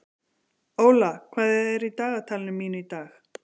Óla, hvað er í dagatalinu mínu í dag?